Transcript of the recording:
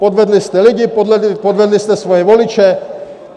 Podvedli jste lidi, podvedli jste svoje voliče.